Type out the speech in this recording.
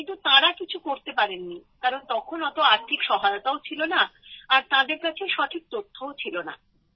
কিন্তু তাঁরা কিছু করতে পারেননি কারণ তখন অত আর্থিক সামর্থও ছিলনা আর তাঁদের কাছে সঠিক তথ্যও ছিলনা